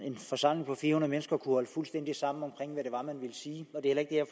en forsamling på fire hundrede mennesker kan holde fuldstændig sammen omkring hvad det var man ville sige og det er